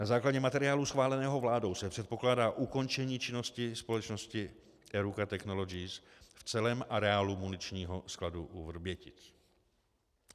Na základě materiálu schváleného vládou se předpokládá ukončení činnosti společnosti Eruca Technologies v celém areálu muničního skladu u Vrbětic.